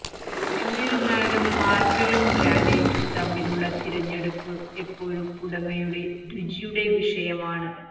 എന്നിരുന്നാലും മാർബിളും ഗ്രാനൈറ്റും തമ്മിലുള്ള തിരഞ്ഞെടുപ്പ് എപ്പോഴും ഉടമയുടെ രുചിയുടെ വിഷയമാണ്